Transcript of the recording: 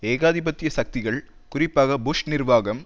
ஏகாதிபத்திய சக்திகள் குறிப்பாக புஷ் நிர்வாகம்